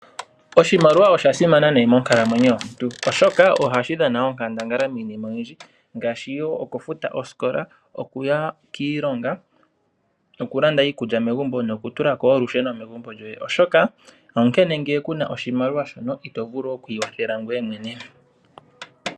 Oshimaliwa osha simana nayi monkalamwenyo yomuntu oshoka ohashi dhana onkandangala miinima oyindji ngaashi wo okufuta osikola ,okuya kiilonga okulanda iikulya megumbo nokutula ko wo olusheno megumbo lyoye oshoka ngele ku na oshimaliwa shono ito vulu okwiikwathela ngoye mwene.